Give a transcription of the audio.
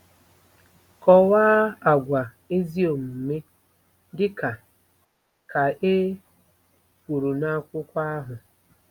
Kọwaa àgwà ezi omume dị ka ka e kwuru n’akwụkwọ ahụ.